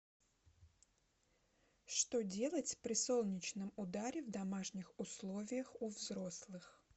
что делать при солнечном ударе в домашних условиях у взрослых